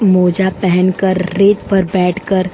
मोजा पहन कर रेट पर बैठ कर --